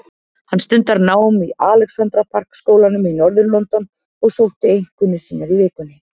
Hann stundar nám í Alexandra Park skólanum í norður-London og sótti einkunnir sínar í vikunni.